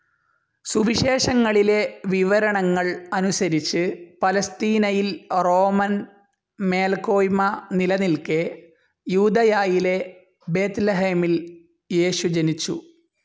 സുവിശേഷങ്ങളിലെ വിവരണങ്ങൾ അനുസരിച്ച്, പലസ്തീനയിൽ റോമൻ മേൽക്കോയ്മ നിലനിൽക്കേ, യൂദയായിലെ ബേത്‌ലഹേമിൽ യേശു ജനിച്ചു.